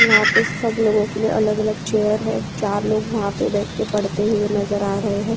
वहाँ पे सभी लोग के लिए अलग-अलग चेयर है चार लोग वहाँ पर बैठ के पढ़ते हुए नजर आ रहे हैं।